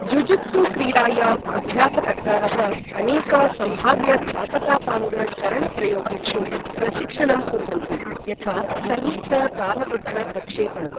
Jujutsu क्रीडायाम् अभ्यासकर्तारः अनेक सम्भाव्य घातकापाङ्ग चरण प्रयोगेषु प्रशिक्षणं कुर्वन्ति, यथा संयुक्त तालबद्ध प्रक्षेपणम्।